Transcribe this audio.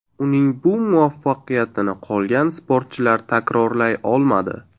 Uning bu muvaffaqiyatini qolgan sportchilar takrorlay olmadi.